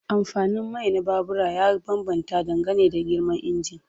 Amfanin mai na babura ya bambanta dangane da girman injin.